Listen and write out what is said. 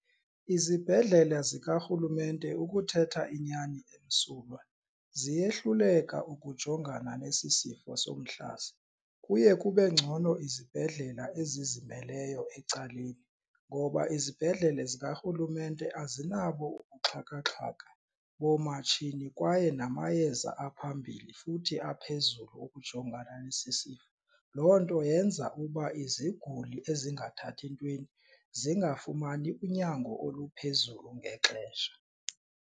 Izibhedlele zikarhulumente ukuthetha inyani emsulwa ziyehluleka ukujongana nesi sifo somhlaza, kuye kube ngcono izibhedlela ezizimeleyo ecaleni ngoba izibhedlele zikarhulumente azinabo ubuxhakaxhaka boomatshini kwaye namayeza aphambili futhi aphezulu ukujongana nesi sifo. Loo nto yenza ukuba iziguli ezingathathi ntweni zingafumani unyango oluphezulu ngexesha.